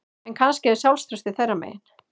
En kannski er sjálfstraustið þeirra megin